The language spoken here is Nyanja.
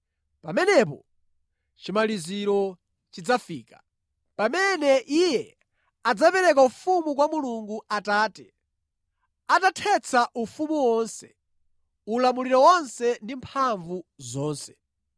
Pamenepo chimaliziro chidzafika, pamene Iye adzapereka ufumu kwa Mulungu Atate, atathetsa ufumu wonse, ulamuliro wonse ndi mphamvu zonse.